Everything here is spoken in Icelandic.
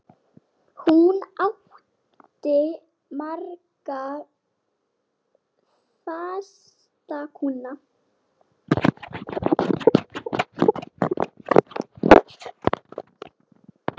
Hún átti marga fasta kúnna.